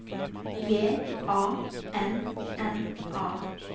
J A N N A